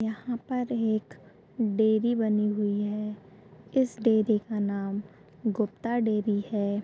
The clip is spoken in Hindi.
यहाँ पर एक डेयरी बनी हुई है इस डेयरी का नाम गुप्ता डेयरी है।